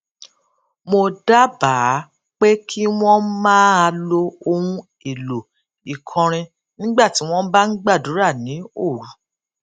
mo dábàá pé kí wón máa lo ohun èlò ìkọrin nígbà tí wón bá ń gbàdúrà ní òru